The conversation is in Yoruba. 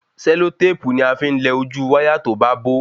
Sẹlotépù ni afi n lẹ ojú wáyà to ba bo